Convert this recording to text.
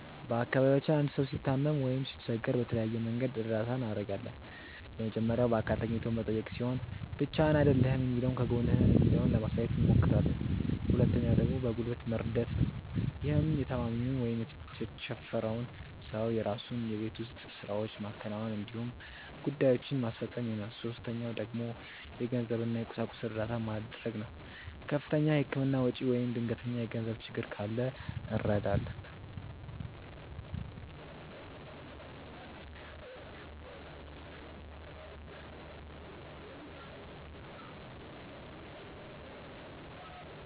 በአካባቢያችን አንድ ሰው ሲታመም ወይም ሲቸገር በተለያየ መንገድ እርዳታ እናደርጋለን። የመጀመሪያው በአካል ተገኝቶ መጠየቅ ሲሆን ብቻህን አይደለህም የሚለውን ከጎንህ ነን የሚለውን ለማሳየት አብሞክራለን። ሁለተኛው ደግሞ በጉልበት መርደት ነው። ይህም የታማሚውን ወይም የተቸፈረውን ሰው የራሱን የቤት ውስጥ ስራዎች ማከናወን እንዲሁም ጉዳዬችን ማስፈፀን ይሆናል። ሶስተኛው ደግሞ የገንዘብ እና የቁሳቁስ እርዳታ መድረግ ነው። ከፍተኛ የህክምና ወጪ ወይም ድንገተኛ የገንዘብ ችግር ካለ እንረዳለን።